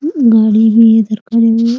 गाड़ी भी इधर खड़ी हुई है ।